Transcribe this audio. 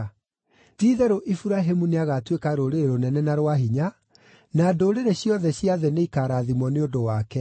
Ti-itherũ Iburahĩmu nĩagatuĩka rũrĩrĩ rũnene na rwa hinya, na ndũrĩrĩ ciothe cia thĩ nĩikarathimwo nĩ ũndũ wake.